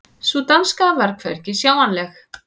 Sú danska var hvergi sjáanleg.